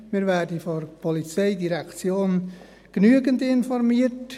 Wir werden von der POM genügend informiert.